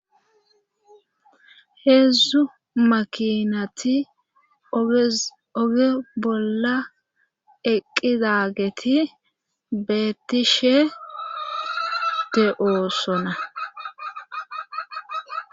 Heedzdzu makinati oge bolla eqqidageti beettishe de7oosona.